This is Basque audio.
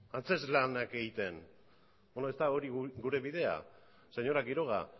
antzezlanak egiten ez da hori gure bidea señora quiroga